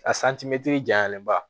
A santimɛtiri janyaniba